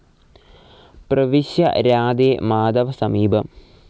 പ്രവിശ്യ രാധേ, മാധവ സമീപം